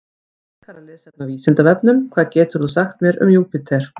Frekara lesefni á Vísindavefnum: Hvað getur þú sagt mér um Júpíter?